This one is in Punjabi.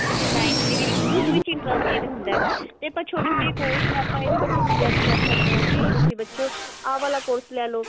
ਬੱਚਿਆਂ ਦੀ line ਜਿਵੇਂ ਇੱਕ ਦੋ ਵਿੱਚ interested ਹੁੰਦਾ ਤੇ ਆਪਾਂ ਛੋਟੇ ਛੋਟੇ course ਨੇ ਆਪਾਂ ਇਹ ਵੀ ਬੱਚਿਆਂ ਨੂੰ suggest ਕਰ ਸਕਦੇ ਹਾਂ ਕੀ ਤੁਸੀਂ ਬੱਚਿਓ ਆਹ ਵਾਲਾ course ਲੈਲੋ